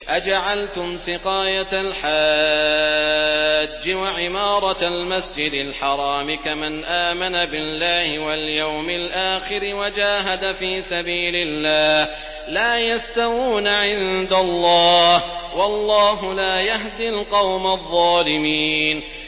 ۞ أَجَعَلْتُمْ سِقَايَةَ الْحَاجِّ وَعِمَارَةَ الْمَسْجِدِ الْحَرَامِ كَمَنْ آمَنَ بِاللَّهِ وَالْيَوْمِ الْآخِرِ وَجَاهَدَ فِي سَبِيلِ اللَّهِ ۚ لَا يَسْتَوُونَ عِندَ اللَّهِ ۗ وَاللَّهُ لَا يَهْدِي الْقَوْمَ الظَّالِمِينَ